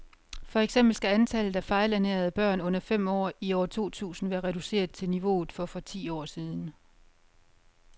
For eksempel skal antallet af fejlernærede børn under fem år i år to tusind være reduceret til niveauet for for ti år siden.